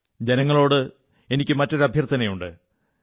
ജനങ്ങളോട് എനിക്ക് മറ്റൊരു അഭ്യർഥനയുണ്ട്